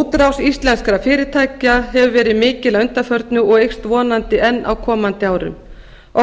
útrás íslenskra fyrirtækja hefur verið mikil að undanförnu og eykst vonandi enn á komandi árum